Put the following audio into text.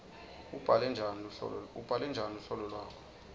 ubhale njani luhlolo lwakho